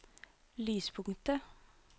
lyspunktet